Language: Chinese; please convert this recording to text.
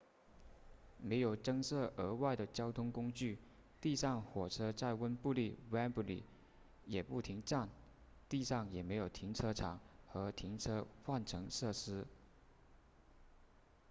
没有增设额外的交通工具地上火车在温布利 wembley 也不停站地上也没有停车场和停车换乘设施